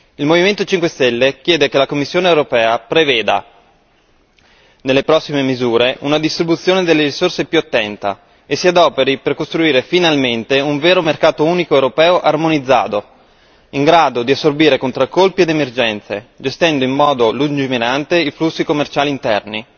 Il Movimento 5 Stelle chiede che la Commissione europea preveda nelle prossime misure una distribuzione delle risorse più attenta e si adoperi per costruire finalmente un vero mercato unico europeo armonizzato in grado di assorbire contraccolpi ed emergenze, gestendo in modo lungimirante i flussi commerciali interni.